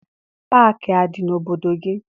Paakị adị n'obodo gị?